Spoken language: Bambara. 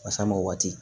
Basa mɔ waati